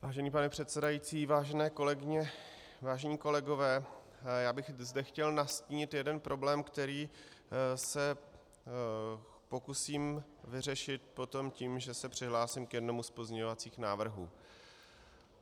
Vážený pane předsedající, vážené kolegyně, vážení kolegové, já bych zde chtěl nastínit jeden problém, který se pokusím vyřešit potom tím, že se přihlásím k jednomu z pozměňovacích návrhů.